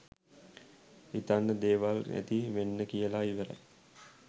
හිතන්න දේවල් ඇති වෙන්න කියල ඉවරයි